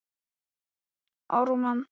Ólafur, hvernig er veðurspáin?